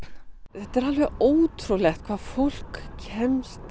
þetta er alveg ótrúlegt hvað fólk kemst